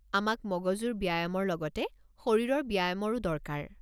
আমাক মগজুৰ ব্যায়ামৰ লগতে শৰীৰৰ ব্যায়ামৰো দৰকাৰ।